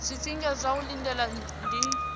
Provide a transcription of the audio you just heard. zwifhinga zwa u lindela ndi